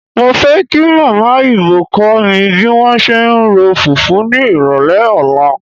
Mo fẹ́ kí Màmá Ibò kó mi bí wọ́n ṣe ń ro fùfú ní ìrọ̀lẹ́ ọ̀la.